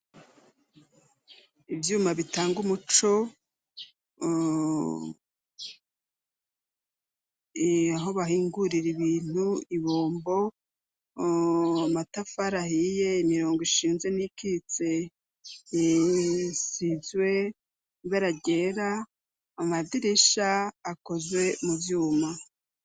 Ivyuma bitanga umuco aho bahingurira ibintu ibombo. Amatafar ahiye imirongo ishinze n'iyikitse isizwe ibara ryera amadirisha akozwe mu vyuma.